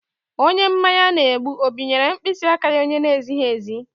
Onye mmanya na-egbu ọ binyeere mkpịsị aka ya onye na-ezighi ezi?